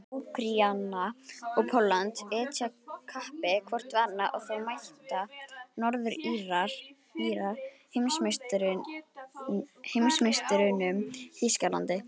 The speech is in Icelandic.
Úkraína og Pólland etja kappi hvort við annað og þá mæta Norður-Írar heimsmeisturunum, Þýskalandi.